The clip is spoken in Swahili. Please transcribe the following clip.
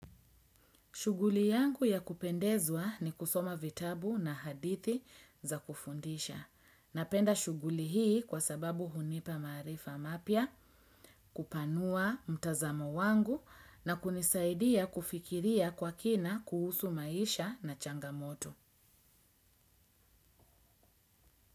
Shuguli yangu ya kupendezwa ni kusoma vitabu na hadithi za kufundisha. Napenda shuguli hii kwa sababu hunipa maarifa mapya, kupanua mtazamo wangu na kunisaidia kufikiria kwa kina kuhusu maisha na changamoto.